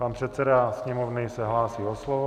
Pan předseda Sněmovny se hlásí o slovo.